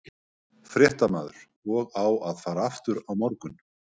Fréttamaður: Og á að fara aftur á morgun?